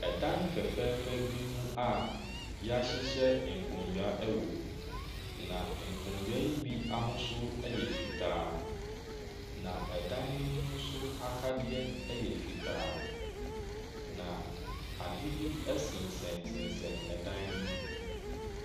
Dan fɛfɛɛfɛ bi mu a, yahyehyɛ nkonwa wɔ mu. Na nkonwa yi bi ahosuo ɛyɛ fitaa, na ɛdan no mu nso akadeɛ ɛyɛ fitaa. Na ade bi ɛsensensen dan no mu.